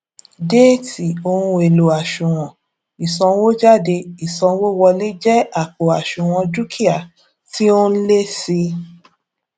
déétì ohun èlò àṣùwòn ìsànwójáde ìsanwówọlé jé àpò àṣùwòn dúkìá tí ó n lé sí